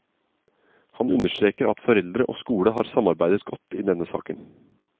Hun understreker at foreldre og skole har samarbeidet godt i denne saken.